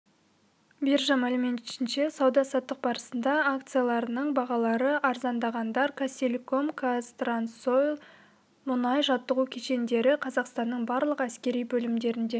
биржа мәліметінше сауда-саттық барысында акцияларының бағалары арзандағандар казахтелеком казтрансойл мұндай жаттығу кешендері қазақстанның барлық әскери бөлімдерінде